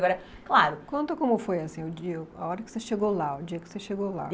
Eu era, claro... Conta como foi, assim a hora que você chegou lá, o dia que você chegou lá.